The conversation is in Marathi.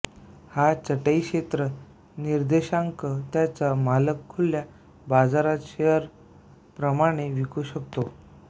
हा चटई क्षेत्र निर्देशांक त्याचा मालक खुल्या बाजारात शेअर प्रमाणे विकू शकतो